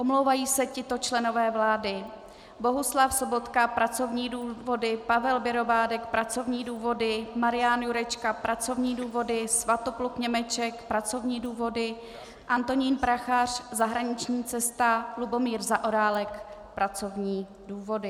Omlouvají se tito členové vlády: Bohuslav Sobotka - pracovní důvody, Pavel Bělobrádek - pracovní důvody, Marian Jurečka - pracovní důvody, Svatopluk Němeček - pracovní důvody, Antonín Prachař - zahraniční cesta, Lubomír Zaorálek - pracovní důvody.